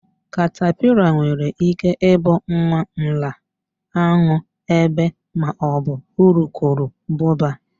Katapila nwere íké ị bụ nwa nla, an̄ụ, ébé maọbụ urukurubụba.